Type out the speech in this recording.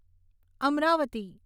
Amravati